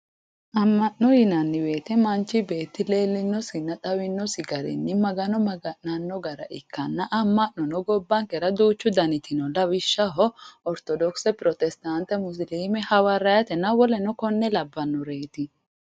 Amma'no yinanni woyiite manchi beetti leellinosinna xawinosi garinni magano maga'nanno gara ikkanna amma'nono gobbankera duuuch daniti no lawishshaho ortodokise, Pirotestaante musiliime, hawariyaatenna woleno konne labbannoreeti